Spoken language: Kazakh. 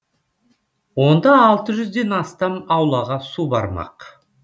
онда алты жүзден астам аулаға су бармақ